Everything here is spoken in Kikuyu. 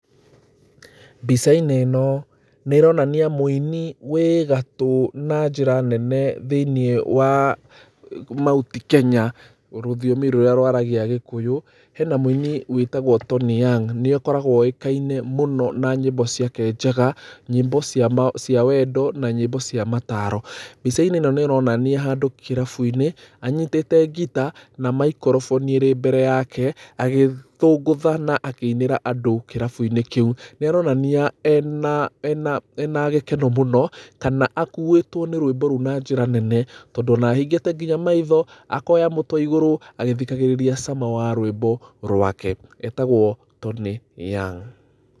Mbica-inĩ ĩno nĩ ĩronania mũini wĩ gatũ na njĩra nene thĩiniĩ wa Mount Kenya, rũthiomi rũrĩa rwaragia Gĩkũyũ. Hena mũini wĩtagwo Tony Young. Nĩ akoragwo oĩkaine na nyĩmbo ciake njega, nyĩmbo cia wendo, nyĩmbo cia mataro. Mbica-inĩ ĩno nĩ ũrona nĩ handũ kĩrabu-ĩnĩ, anyitĩte ngita na microphone ĩrĩ mbere yake, agĩthũngũtha na akĩinĩra andũ kĩrabu-inĩ kĩu. Nĩ aronania ena gĩkeno mũno kana akuĩtwo nĩ rwĩmbo rũu na njĩra nene. Tondũ ona ahingĩte nginya maitho akoya mũtwe igũrũ agĩthikagĩrĩria cama wa rwĩmbo rwake. Etagwo Tony Young.